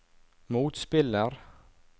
motspiller